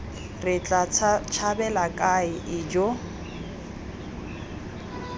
re tla tshabela kae ijoo